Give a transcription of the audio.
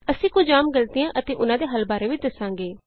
ਅਸੀਂ ਕੁਝ ਆਮ ਗ਼ਲਤੀਆਂ ਅਤੇ ਉਹਨਾਂ ਦੇ ਹੱਲ ਬਾਰੇ ਵੀ ਦਸਾਂਗੇ